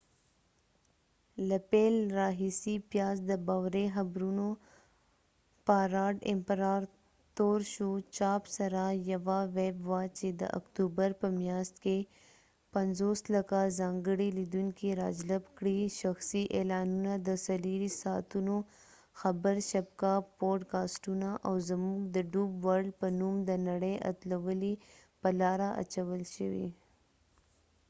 له پیل راهیسې، پیاز د باوري خبرونو پاراډ امپراتور شو، چاپ سره، یوه ویب وه چې د اکتوبر په میاشت کې 5،000،000 ځانګړي لیدونکي راجلب کړي، شخصي اعلانونه، د 24 ساعتونو خبر شبکه، پوډکاسټونه، او زموږ د ډوب ورلډ په نوم د نړۍ اتلولۍ په لاره اچول شوي۔